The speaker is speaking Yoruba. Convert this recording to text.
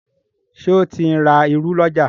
Ṣe o tin rá ìrù l'ọja?